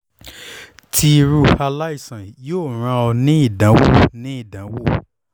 ti iru alaisan yoo ran ọ ni idanwo ni idanwo